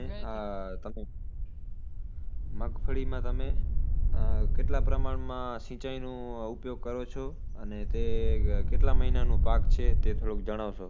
મગફળીમાં તમે ઉહ કેટલા પ્રમાણમાં સિચાઈનું ઉપયોગ કરો છો અને તે કેટલા મહિનાનું પાક છે તે થોડુક જણાવશો